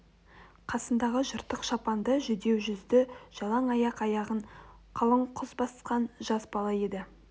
қасындағысы жыртық шапанды жүдеу жүзді жалаң аяқ аяғын қалың күс басқан жасар бала еді